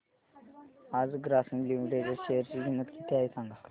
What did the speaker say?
आज ग्रासीम लिमिटेड च्या शेअर ची किंमत किती आहे सांगा